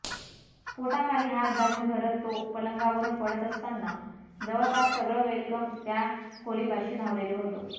पोटाखाली हात दाबून धरत तो पलंगावरून पडत असताना जवळपास सगळं वेलकम त्या खोलीपाशी धावलेलं होतं